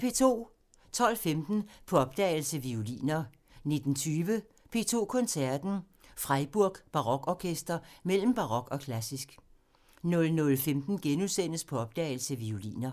12:15: På opdagelse – Violiner 19:20: P2 Koncerten – Freiburg Barokorkester mellem barok og klassisk 00:15: På opdagelse – Violiner *